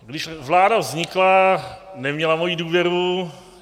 Když vláda vznikla, neměla moji důvěru.